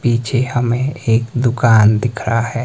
पीछे हमें एक दुकान दिख रहा है।